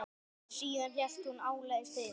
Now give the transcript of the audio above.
Síðan hélt hún áleiðis til